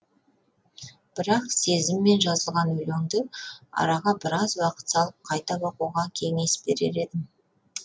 бірақ сезіммен жазылған өлеңді араға біраз уақыт салып қайта оқуға кеңес берер едім